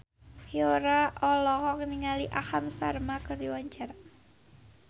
Yura olohok ningali Aham Sharma keur diwawancara